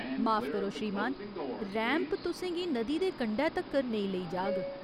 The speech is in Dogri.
माफ करो, श्रीमान। रैंप तु'सें गी नदी दे कंढै तक्कर नेईं लेई जाग।